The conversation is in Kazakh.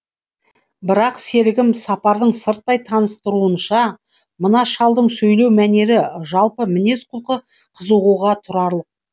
бірақ серігім сапардың сырттай таныстыруынша мына шалдың сөйлеу мәнері жалпы мінез құлқы қызығуға тұрарлық